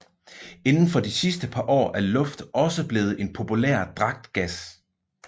Inden for de sidste par år er luft også blevet en populær dragtgas